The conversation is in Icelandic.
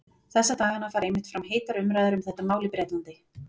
Þessa dagana fara einmitt fram heitar umræður um þetta mál í Bretlandi.